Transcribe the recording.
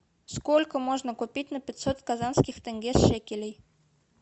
сколько можно купить на пятьсот казахских тенге шекелей